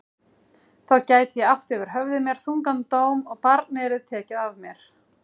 Þá gæti ég átt yfir höfði mér þungan dóm og barnið yrði tekið af mér.